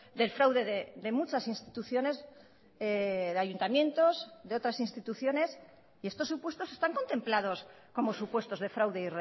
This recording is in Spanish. del fraude de muchas instituciones de ayuntamientos de otras instituciones y estos supuestos están contemplados como supuestos de fraude